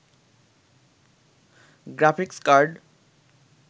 graphics card